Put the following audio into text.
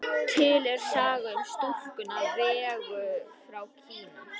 Til er saga um stúlkuna Vegu frá Kína.